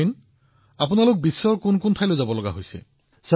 captain আপুনি বিদেশৰ কোন কোন স্থানলৈ গৈছে